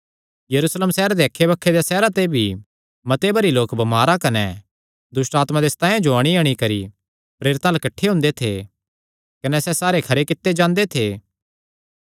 यरूशलेम सैहरे दे अक्खैबक्खे देयां सैहरां ते भी मते भरी लोक बमारां कने दुष्टआत्मां दे सतायां जो अंणीअंणी करी प्रेरितां अल्ल किठ्ठे हुंदे थे कने सैह़ सारे खरे कित्ते जांदे थे